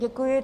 Děkuji.